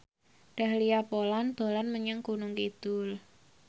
Dahlia Poland dolan menyang Gunung Kidul